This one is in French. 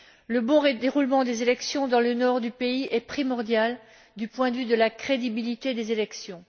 Le bon déroulement des élections dans le nord du pays est primordial du point de vue de la crédibilité des élections.